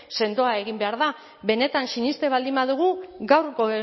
sendoa egin behar da benetan sinesten baldin badugu gaurko